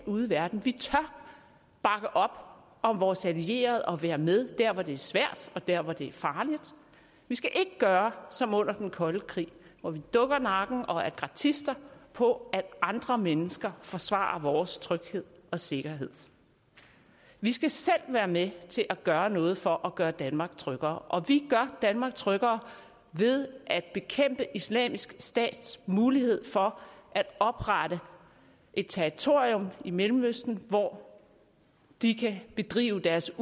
ude i verden vi tør bakke op om vores allierede og være med der hvor det svært og der hvor det er farligt vi skal ikke gøre som under den kolde krig hvor vi dukker nakken og er gratister på at andre mennesker forsvarer vores tryghed og sikkerhed vi skal selv være med til at gøre noget for at gøre danmark tryggere og vi gør danmark tryggere ved at bekæmpe islamisk stats mulighed for at oprette et territorium i mellemøsten hvor de kan bedrive deres